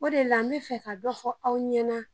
O de la, n bi fɛ ka dɔɔni fɔ aw ɲɛna.